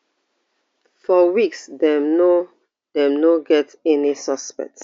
for weeks dem no dem no get any suspects